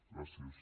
gràcies